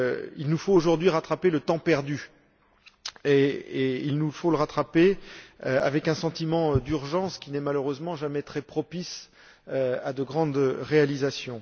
Il nous faut aujourd'hui rattraper le temps perdu, et il nous faut le rattraper avec un sentiment d'urgence qui n'est malheureusement jamais très propice à de grandes réalisations.